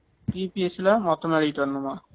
EPS ல மொத்தமா எழுதிட்டு வரணுமா